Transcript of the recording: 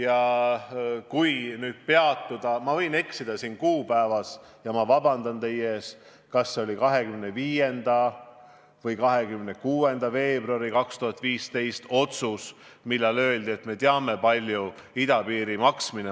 Ma võin siin eksida kuupäevaga – ja ma vabandan teie ees –, aga see oli kas 25. või 26. veebruari otsus 2015. aastal, milles öeldi, et me teame, kui palju idapiir maksab.